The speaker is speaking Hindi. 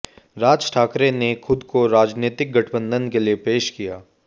राज ठाकरे ने खुद को राजनीतिक गठबंधन के लिए पेश किया